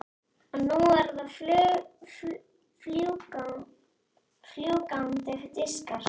Og nú eru það fljúgandi diskar.